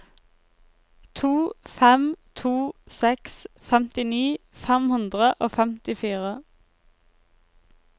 to fem to seks femtini fem hundre og femtifire